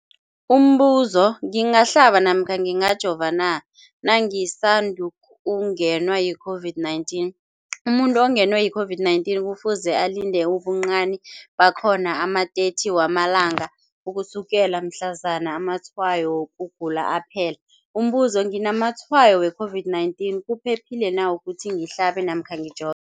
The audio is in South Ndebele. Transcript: Umbuzo, ngingahlaba namkha ngingajova na nangisandu kungenwa yi-COVID-19? Umuntu ongenwe yi-COVID-19 kufuze alinde ubuncani bakhona ama-30 wama langa ukusukela mhlazana amatshayo wokugula aphela. Umbuzo, nginamatshayo we-COVID-19, kuphephile na ukuthi ngihlabe namkha ngijo